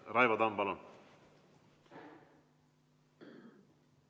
Raivo Tamm, palun!